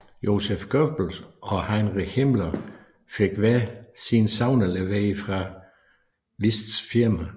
Joseph Goebbels og Heinrich Himmler fik hver sin sauna leveret fra Whists firma